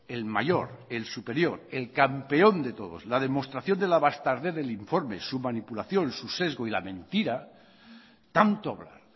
el mayor el superior el campeón de todos la demostración de la bastardez del informe su manipulación su sesgo y la mentira tanto hablar